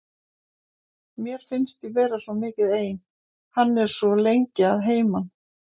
Mér finnst ég vera svo mikið ein, hann er svo lengi að heiman.